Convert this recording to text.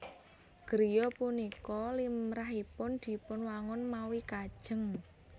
Griya punika limrahipun dipunwangun mawi kajéng